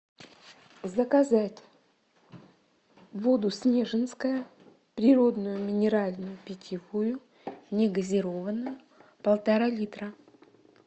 заказать воду снежинская природную минеральную питьевую не газированную полтора литра